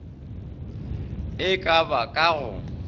e ka ba ka go